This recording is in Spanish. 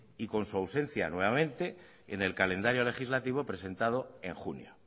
y con su ausencia nuevamente en el calendario legislativo presentado en junio